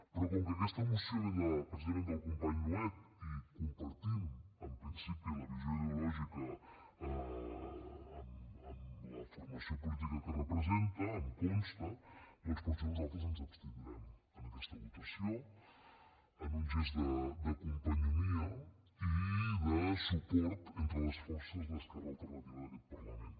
però com que aquesta moció ve precisament del company nuet i compartim en principi la visió ideològica amb la formació política que representa em consta doncs potser nosaltres ens abstindrem en aquesta votació en un gest de companyonia i de suport entre les forces d’esquerra alternativa d’aquest parlament